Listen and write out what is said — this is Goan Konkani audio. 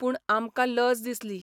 पूण आमकां लज दिसली.